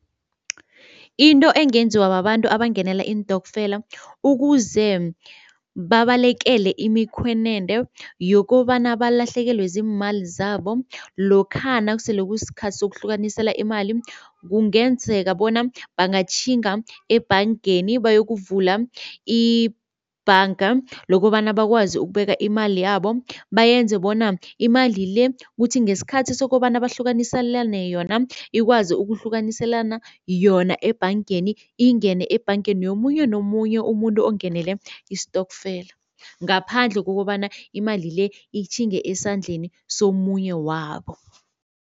Into engenziwa babantu abangenela iintokfela ukuze babalekele imikhwenende yokobana balahlekelwe ziimali zabo lokha nakusele kusikhathi sokuhlukanisela imali, kungenzeka bona bangatjhinga ebhangeni bayokuvula ibhanga lokobana bakwazi ukubeka imali yabo. Bayenze bona imali le kuthi ngesikhathi sokobana bahlukaniselane yona, ikwazi ukuhlukaniselana yona ebhangeni. Ingene ebhangeni yomunye nomunye umuntu ongenele istokfela, ngaphandle kokobana imali le itjhinge esandleni somunye wabo.